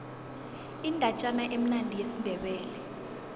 indatjana emnandi yesindebele